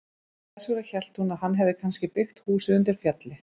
Þess vegna hélt hún að hann hefði kannski byggt húsið undir fjalli.